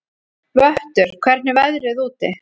Vöttur, hvernig er veðrið úti?